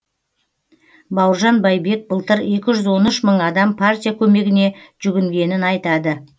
бауыржан байбек былтыр екі жүз он үш мың адам партия көмегіне жүгінгенін айтады